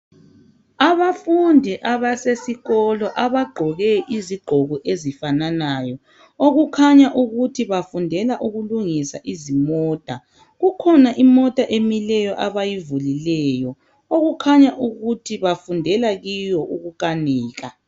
Abafundi abasesikolo abagqoke izigqoko ezifananayo okukhanya ukuthi bafundela ukulungisa izimota. Kukhona imota emileyo abayivulileyo okukhanya ukuthi bafundela kiyo ukukanika.